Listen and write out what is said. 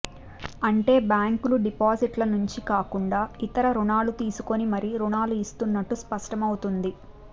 అంటే బ్యాంకులు డిపాజిట్ల నుంచే కాకుండా ఇతర రుణాలు తీసుకొని మరీ రుణాలు ఇస్తున్నట్లు స్పష్టమవుతోంది